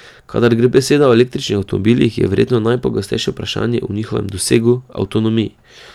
Kadar gre beseda o električnih avtomobilih, je verjetno najpogostejše vprašanje o njihovem dosegu, avtonomiji.